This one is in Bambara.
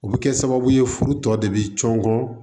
O bɛ kɛ sababu ye furu tɔ de bɛ cɔngɔ